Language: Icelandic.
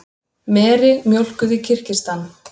Meri mjólkuð í Kirgistan.